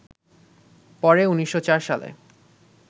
পরে ১৯০৪ সালে